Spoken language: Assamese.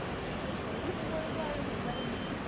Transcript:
এহ ভন্তি কি কৰিব আৰু mobile তিপি